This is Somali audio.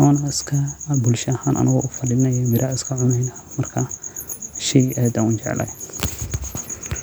wana iska bulsha ahan mira iskacuneyna, marka wa shey aad an ujecelahay.